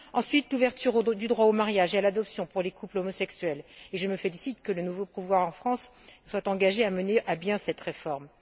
ensuite, l'ouverture du droit au mariage et à l'adoption pour les couples homosexuels, et je me félicite que le nouveau pouvoir en France se soit engagé à mener à bien cette réforme